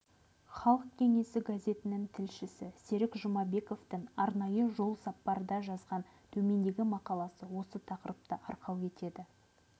халық кеңесі газетінің тілшісі серік жұмабековтың арнайы жолсапардан жазған төмендегі мақаласы осы тақырыпты арқау етеді